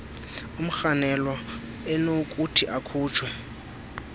umrhanelwa enokuthi akhutshwe